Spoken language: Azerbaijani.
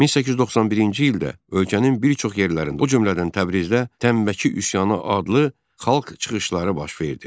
1891-ci ildə ölkənin bir çox yerlərində, o cümlədən Təbrizdə Tənbəki üsyanı adlı xalq çıxışları baş verdi.